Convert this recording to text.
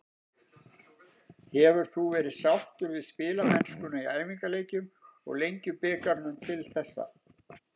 Hefur þú verið sáttur við spilamennskuna í æfingaleikjum og Lengjubikarnum til þessa?